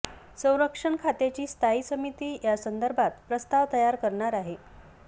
संरक्षण खात्याची स्थायी समिती यासंदर्भात प्रस्ताव तयार करणार आहे